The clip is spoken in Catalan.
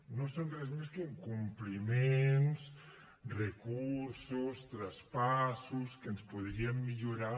no són res més que incompliments recursos traspassos que ens podrien millorar